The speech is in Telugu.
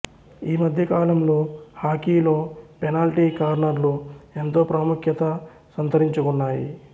ఈ మధ్య కాలంలో హాకీలో పెనాల్టి కార్నర్లు ఎంతో ప్రాముఖ్యత సంతరించుకున్నాయి